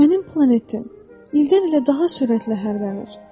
Mənim planetim ildən-ilə daha sürətlə hərlənir.